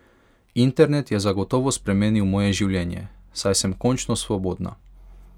Internet je zagotovo spremenil moje življenje, saj sem končno svobodna.